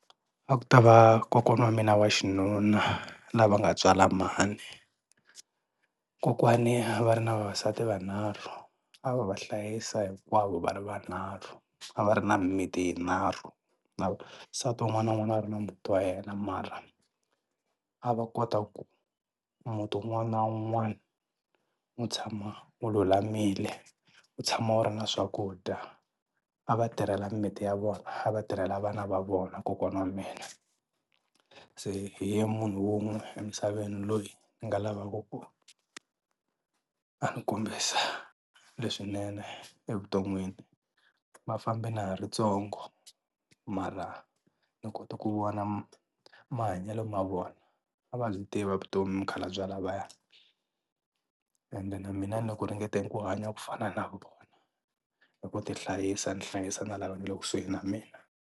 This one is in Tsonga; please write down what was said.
A ku ta va kokwana wa mina wa xinuna lava nga tswala mhani, kokwani a va ri na vavasati vanharhu a va va hlayisa hinkwavo va ri vunharhu a va ri na mimiti yinharhu na nsati wun'wana na wun'wana a ri na muti wa yena mara a va kota ku muti wun'wana na wun'wana wu tshama wu lulamile, wu tshama wu ri na swakudya a va tirhela mimiti ya vona a va tirhela vana va vona kokwana wa mina. Se hi ye munhu wun'we emisaveni loyi ni nga lavaka ku a ni kombisa leswinene evuton'wini va fambe na ha ri ntsongo mara ni kote ku vona mahanyelo ma vona, a va byi tiva vutomi mukhalabye lavaya ende na mina ni le ku ringeteni ku hanya ku fana na vona hi ku ti hlayisa ni hlayisa na lava nga le kusuhi na mina.